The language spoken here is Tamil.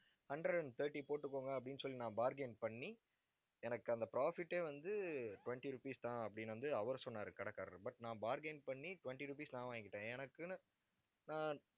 hundred and thirty போட்டுக்கோங்க அப்படின்னு சொல்லி நான் bargain பண்ணி எனக்கு அந்த profit ஏ வந்து, twenty rupees தான் அப்படின்னு வந்து, அவர் சொன்னாரு கடைக்காரர். but நான் bar gain பண்ணி twenty rupees நான் வாங்கிக்கிட்டேன். எனக்குன்னு ஆஹ்